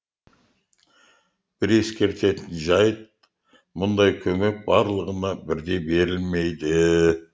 бір ескертетін жайт мұндай көмек барлығына бірдей берілмейді